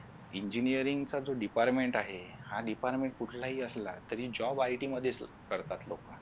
engineering चा जो department आहे हा department कुठलाही असला तरी jobIT मध्ये करतात लोक